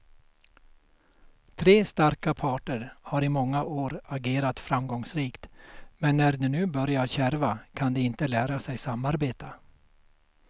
Tre starka parter har i många år agerat framgångsrikt, men när det nu börjar kärva kan de inte lära sig samarbeta.